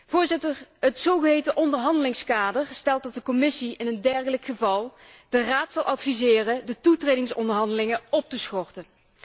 Voorzitter, het zogeheten onderhandelingskader stelt dat de Commissie in een dergelijk geval de Raad zal adviseren de toetredingsonderhandelingen op te schorten.